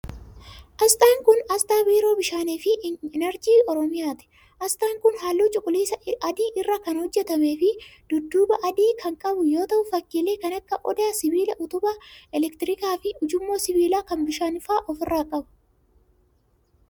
Asxaan kun, asxaa biiroo bishaanii fi inarjii Oromiyaati. Asxaan kun haalluu cuquliisa adii irraa kan hojjatamee fi dudduuba adii kan qabu yoo ta'u, fakkiilee kan akka:odaa, sibiila utubaa elektirikaa fi ujummoo sibiilaa kan bishaanii faa of irraa qaba.